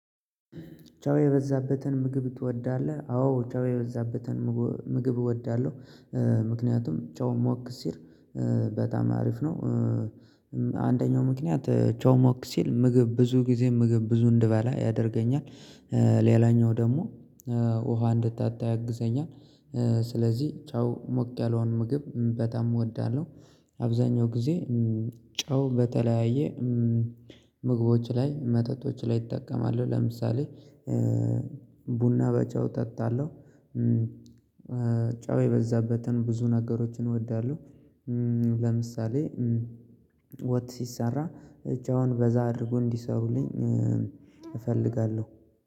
ጨው የበዛበትን ምግብ ትወዳለህ? አዎ ጨው የበዛበትን ምግብ እወዳለሁ። ምክንያቱም ጨው ሞቅ ሲል በጣም አሪፍ ነው። አንደኛው ምክንያት ጨው ሞቅ ሲል ምግብ ብዙ ጊዜ ምግብ ብዙ እንድባላ ያደርገኛል። ሌላኛው ደግሞ ውሃ እንድጠጣ ያግዘኛል። ስለዚህ ጨው ሞቅ ያለውን ምግብ በጣም እወዳለሁ። አብዛኛው ጊዜ ጨው በተለያየ ምግቦች ላይ መጠጦች ላይ እጠቀማለው። ለምሳሌ ቡና በጨው እጠጣለሁ። ጨው የበዛበትን ብዙ ነገሮችን እወዳለሁ። ለምሳሌ ወጥ ሲሰራ እጫውን በዛ አድርጎ እንዲሰሩልኝ እፈልጋለሁ።